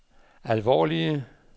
alvorlige